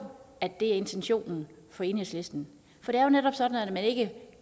at det er intentionen fra enhedslisten for det er jo netop sådan at når man ikke